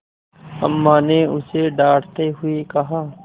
अम्मा ने उसे डाँटते हुए कहा